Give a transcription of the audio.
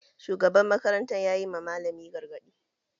Shugaban makaranta yayi ma malamin gargaɗi